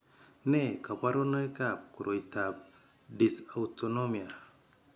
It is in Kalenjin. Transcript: Nee kabarunoikab koroitoab Dysautonomia?